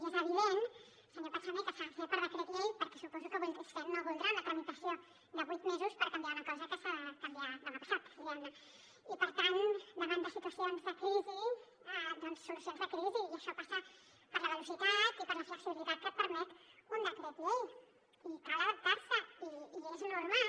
i és evident senyor pachamé que s’ha de fer per decret llei perquè suposo que vostè no voldrà una tramitació de vuit mesos per canviar una cosa que s’ha de canviar demà passat diguem ne i per tant davant de situacions de crisi doncs solucions de crisi i això passa per la velocitat i per la flexibilitat que et permet un decret llei i cal adaptar s’hi i és normal